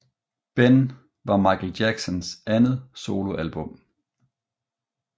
Ben var Michael Jacksons andet soloalbum